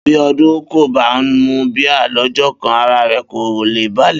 Bí Odún kò bá mu bíà ló̩jó̩ kan, ara rè̩ kò lè balè̩